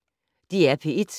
DR P1